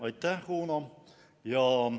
Aitäh, Uno!